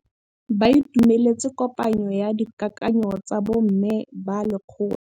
Ba itumeletse kôpanyo ya dikakanyô tsa bo mme ba lekgotla.